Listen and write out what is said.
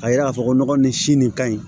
Ka yira k'a fɔ ko nɔgɔ nin si nin ka ɲi